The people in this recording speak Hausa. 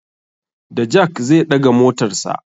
Da jak zai ɗaga motarsa.